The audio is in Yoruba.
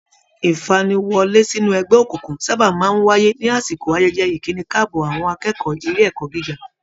Ìfaniwọ́lé sínú ẹgbẹ́ òkùnkùn sábà máa ń wáyé ní àsìkò ayẹyẹ ìkíni káàbọ̀ àwọn akẹ́kọ̀ọ́ ilé ẹ̀kọ́ gíga